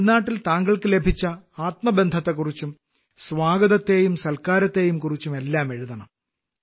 തമിഴ്നാട്ടിൽ താങ്കൾക്ക് ലഭിച്ച ആത്മബന്ധത്തെക്കുറിച്ചും സ്വാഗതത്തെയും സൽക്കാരത്തെയും കുറിച്ചുമെല്ലാം എഴുതണം